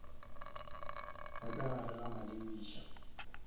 ba ka gare ga malebiša